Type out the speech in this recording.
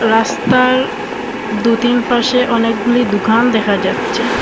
রাস্তার দু-তিন পাশে অনেকগুলি দুকান দেখা যাচ্ছে।